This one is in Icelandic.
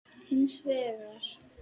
Hins vegar